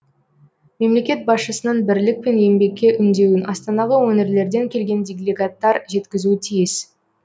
мемлекет басшысының бірлік пен еңбекке үндеуін астанаға өңірлерден келген делегаттар жеткізуі тиіс